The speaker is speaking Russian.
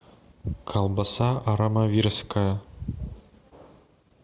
колбаса армавирская